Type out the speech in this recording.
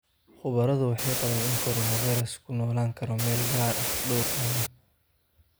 Khubaradu waxay qabaan in coronavirus-ku ku noolaan karo meel gaar ah dhowr maalmood.